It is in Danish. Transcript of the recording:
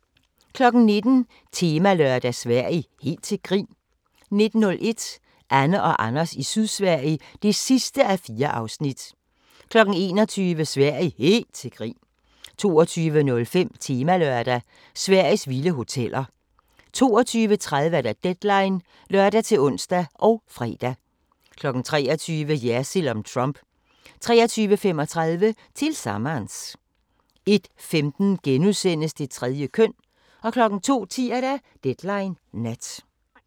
19:00: Temalørdag: Sverige – Helt til grin? 19:01: Anne og Anders i Sydsverige (4:4) 21:00: Sverige – helt til grin! 22:05: Temalørdag: Sveriges vilde hoteller 22:30: Deadline (lør-ons og fre) 23:00: Jersild om Trump 23:35: Tillsammans 01:15: Det tredje køn * 02:10: Deadline Nat